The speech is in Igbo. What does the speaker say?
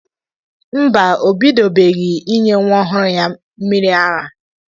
Mba, o bidobeghi ịnye nwa ọhụrụ ya mmịrị ara.